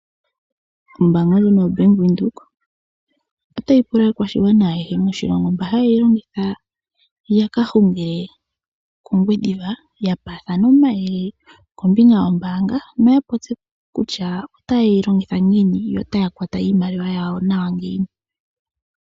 Ombanga ndjino yoBank Windhoek otayi pula aakwashigwana ayehe moshilongo mba haye yi longitha yaka hungile kOngwediva ya paathane omayele kombinga yombanga noya popye kutya otayeyi longitha ngiini notaya kwata iimaliwa yawo ngiini.